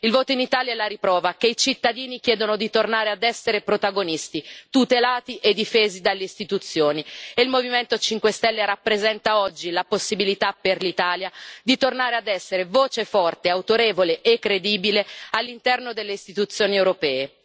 Il voto in Italia è la riprova che i cittadini chiedono di tornare ad essere protagonisti, tutelati e difesi dalle istituzioni, e il Movimento 5 Stelle rappresenta oggi la possibilità per l'Italia di tornare ad essere voce forte, autorevole e credibile all'interno delle istituzioni europee.